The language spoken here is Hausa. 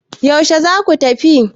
yaushe za ku tafi?